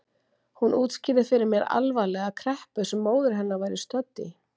Hún útskýrði fyrir mér alvarlega kreppu sem móðir hennar væri stödd í.